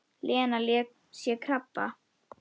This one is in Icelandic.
Lena sé með krabba.